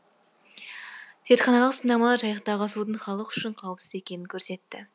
зертханалық сынамалар жайықтағы судың халық үшін қауіпсіз екенін көрсетті